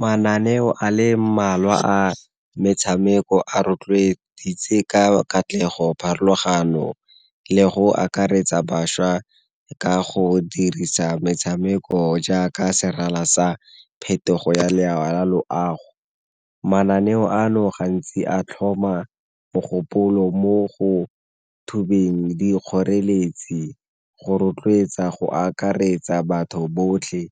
Mananeo a le mmalwa a metshameko a rotloeditse ka katlego, pharologano, le go akaretsa bašwa ka go dirisa metshameko jaaka serala sa phetogo ya loago. Mananeo ano gantsi a tlhoma mogopolo mo go thubeng dikgoreletsi, go rotloetsa, go akaretsa batho botlhe,